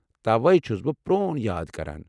توے چھُس بہٕ پرون یاد كران ۔